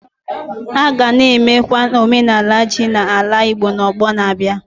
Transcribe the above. A ga na-emekwa n'omenala ji na ala Igbo n'ọgbọ na-abịa.